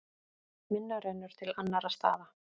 Minna rennur til annarra staða.